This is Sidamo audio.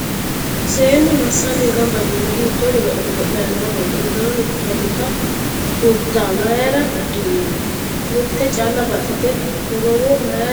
Seennu massanni gamba yiino? Hiitto godo'le godo'layi nooreti? Uddano mittu dani kuulita mayiira uddirino? Mitte calla baxxite korowo mayiira amaddu?